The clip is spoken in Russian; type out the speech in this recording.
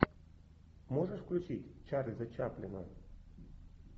можешь включить чарльза чаплина